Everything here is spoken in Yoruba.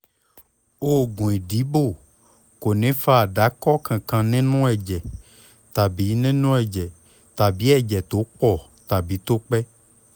oògùn ìdìbò kò ní fa àdàkọ kankan nínú ẹ̀jẹ̀ tàbí nínú ẹ̀jẹ̀ tàbí ẹ̀jẹ̀ tó pọ̀ tàbí tó pẹ́